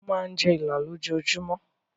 Mo máa ń jẹ Ìlá lójoojúmọ́.